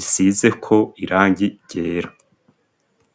isizeko irangi ryera.